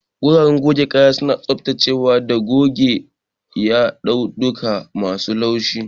Guraren goge kaya suna tsaftacewa da goge yadudduka masu laushi.